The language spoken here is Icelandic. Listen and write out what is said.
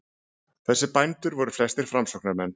Þessir bændur voru flestir framsóknarmenn.